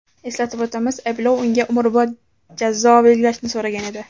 Eslatib o‘tamiz, ayblov unga umrbod jazo belgilashni so‘ragan edi .